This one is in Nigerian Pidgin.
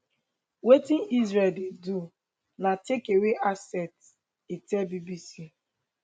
wetin israel dey do na take away assets e tell bbc